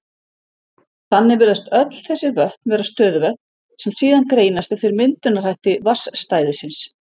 Þannig virðast öll þessi vötn vera stöðuvötn, sem síðan greinast eftir myndunarhætti vatnsstæðisins.